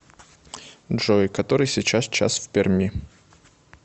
джой который сейчас час в перми